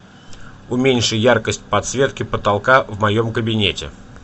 уменьши яркость подсветки потолка в моем кабинете